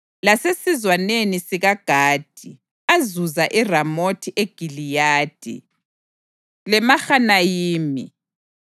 lasesizwaneni sikaGadi azuza iRamothi eGiliyadi, leMahanayimi,